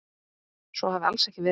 Svo hafi alls ekki verið.